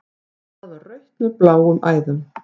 Það var rautt með bláum æðum.